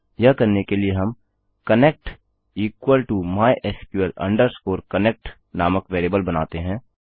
यह करने के लिए हम connect equal to mysql connect नामक वेरिएबल बनाते हैं